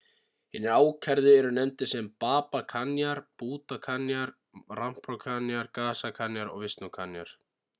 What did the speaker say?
hinir ákærðu eru nefndir sem baba kanjar bhutha kanjar rampro kanjar gaza kanjar og vishnu kanjar